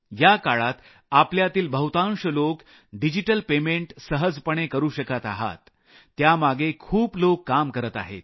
या काळात आपल्यातील बहुतांश लोक डिजिटल पेमेंट सहजपणे करू शकत आहात त्यामागे खूप लोक काम करत आहेत